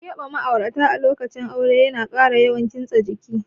Keɓe ma'aurata a lokacin aure ya kara yawan kitsen jiki.